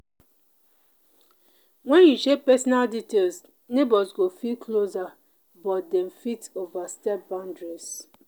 when you share personal details neighbors go feel closer but them fit overstep boundaries.